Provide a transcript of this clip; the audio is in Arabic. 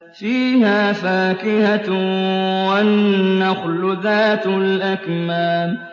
فِيهَا فَاكِهَةٌ وَالنَّخْلُ ذَاتُ الْأَكْمَامِ